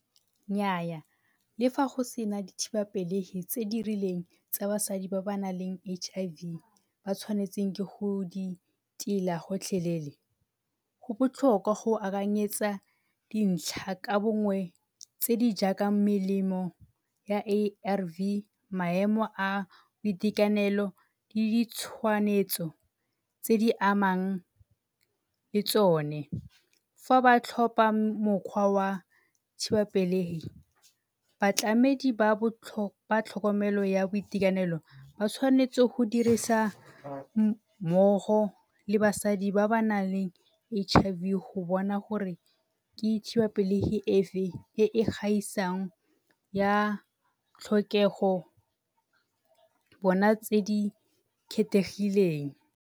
Nnyaa, le fa go se na dithibapelegi tse di rileng tsa basadi ba ba nang le H_I_V ba tshwanetseng ke go di tila gotlhelele. Go botlhokwa go akanyetsa ka bongwe tse di jaaka melemo ya A_R_V maemo a boitekanelo le tse di amang le tsone. Fa ba tlhopha mokgwa wa thibapelegi, batlamedi ba tlhokomelo ya boitekanelo ba tshwanetse go dirisa mmogo le basadi ba ba nang le H_I_V go bona gore ke thibelapelegi e e gaisang ya tlhokego tse di kgethegileng.